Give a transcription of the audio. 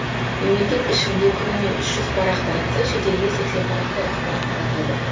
мемлекет ішін де күніне үш жүз парақ таратса шетелге сексен парақтай ақпарат таратады